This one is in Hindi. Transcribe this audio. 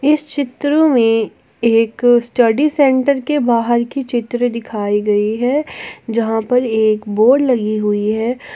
इस चित्र में एक स्टडी सेंटर के बाहर की चित्र दिखाई गई है जहां पर एक बोर्ड लगी हुई है।